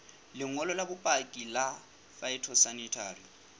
lengolo la bopaki la phytosanitary